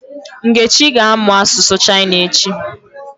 Nkechi ga-amụ asụsụ China echi.